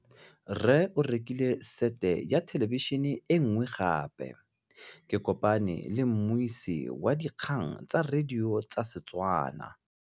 Rre o rekile sete ya thêlêbišênê e nngwe gape. Ke kopane mmuisi w dikgang tsa radio tsa Setswana.